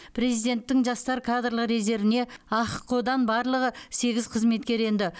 президенттің жастар кадрлық резервіне ахқо дан барлығы сегіз қызметкер енді